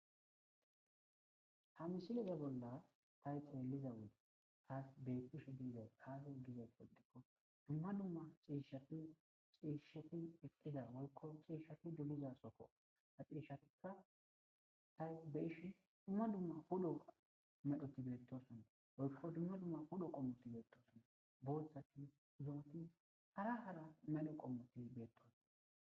Ha misileza bolla tay xeelliza wee taas beettishu diizay daaho giza poldikko dumma dumma ciishati xiishshati eqqiza wolko ciishshati doliza sokko ha xirishatikka tay beyishi dumma dumma hudo medhoti beettosone wolko dumma dumma hudo qommoti beettosone booththachu zumati hara hara medho qommoti beetto.